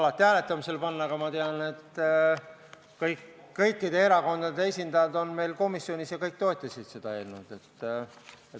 Alati võib hääletamisele panna, aga kõikide erakondade esindajad on meil komisjonis ja kõik toetasid seda eelnõu.